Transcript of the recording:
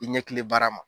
I ɲɛkili baara ma